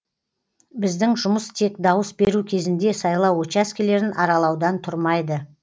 біздің жұмыс тек дауыс беру кезінде сайлау учаскелерін аралаудан тұрмайды